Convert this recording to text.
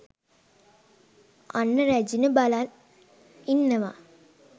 අන්න රැජින බලන් ඉන්නවා